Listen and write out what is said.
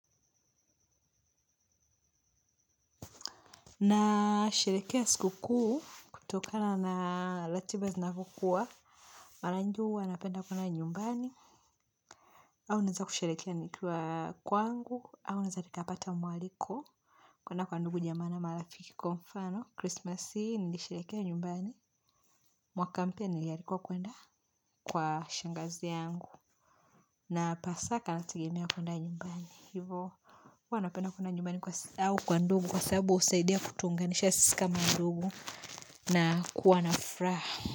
Nasherehekea siku kuu, kutokana na ratiba na kukua, mara nyingi napenda kuenda nyumbani, au naenda kusherehekea nikiwa kwangu, au nilipopata mwaliko, kuna kwa ndugu, jamaa na marafiki, kwa mfano Krismasi, nasherehekea nyumbani, mwaka mpya nilikuwa naenda kwa shangazi yangu. Na Pasaka nategemea kwenda nyumbani. Huwa napenda kwenda nyumbani au kwa ndugu kwa sababu husaidia kutuunganisha sisi kama ndugu na kuwa na furaha.